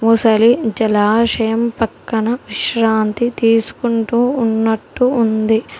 మొసలి జలాశయం పక్కన విశ్రాంతి తీసుకుంటూ ఉన్నట్టు ఉంది.